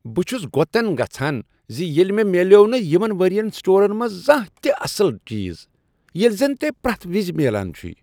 بہٕ چھس گۄتن گژھان زِ ییٚلہِ مےٚ میلیوٚو نہٕ یمن ؤرۍ یَن سٹورن منز زانہہ تہِ اصل چیز ییٚلہِ زن تۄہہ پرٛیتھ وِز میلان چُھوےٚ۔